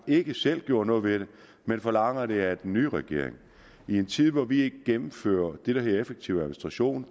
ikke selv gjorde noget ved det men forlanger det af den nye regering i en tid hvor vi gennemfører det der hedder effektiv administration